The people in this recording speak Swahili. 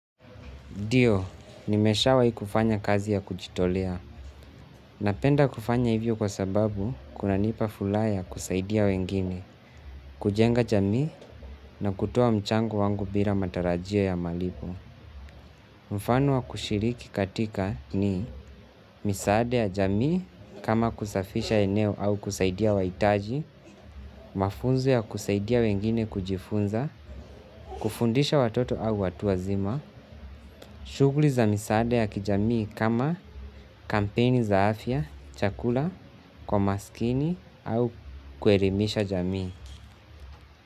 Ndio, nimeshawahi kufanya kazi ya kujitolea. Napenda kufanya hivyo kwa sababu kunanipa furaha ya kusaidia wengine, kujenga jamii na kutoa mchango wangu bila matarajio ya malipo. Mfano wa kushiriki katika ni misaada ya jamii kama kusafisha eneo au kusaidia wahitaji, mafunzu ya kusaidia wengine kujifunza, kufundisha watoto au watu wazima, shughuli za misaada ya kijamii kama kampeni za afya, chakula, kwa maskini au kuelimisha jamii.